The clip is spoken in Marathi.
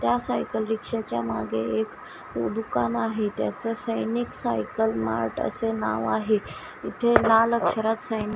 त्या सायकल रिक्षाच्या मागे एक दुकान आहे त्याच सैनिक सायकल मार्ट असे नाव आहे इथे लाल अक्षरात सा--